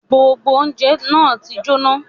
Gbogbo ọ̀unjẹ na ti jóná